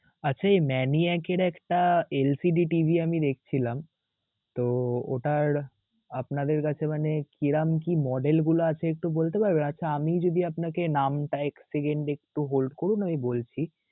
আচ্ছা এই Maniac এর একটা LCD TV আমি দেখছিলাম, তো ওটার আপনাদের কাছে মানে কিরাম কি model গুলো আছে একটু বলতে পারবেন? আচ্ছা আমি যদি আপনাকে নামটা এক second একটু hold করুন, আমি বলছি.